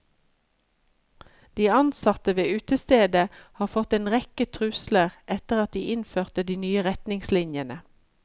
De ansatte ved utestedet har fått en rekke trusler etter at de innførte de nye retningslinjene.